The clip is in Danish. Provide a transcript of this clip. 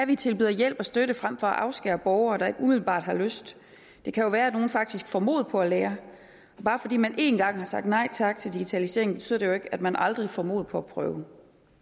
vi tilbyder hjælp og støtte frem for at afskære borgere der ikke umiddelbart har lyst det kan jo være at nogle faktisk får mod på at lære bare fordi man én gang har sagt nej tak til digitaliseringen betyder det jo ikke at man aldrig får mod på at prøve